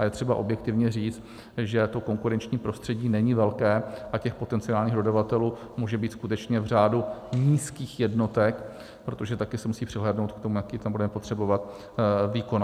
A je třeba objektivně říct, že to konkurenční prostředí není velké a těch potenciálních dodavatelů může být skutečně v řádu nízkých jednotek, protože také se musí přihlédnout k tomu, jaký tam budeme potřebovat výkon.